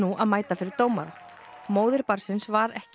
að mæta fyrir dómara móðir barnsins var ekki